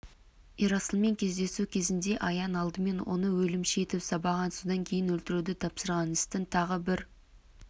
ерасылмен кездесу кезінде аян алдымен оны өлімші етіп сабаған содан кейін өлтіруді тапсырған істің тағы бір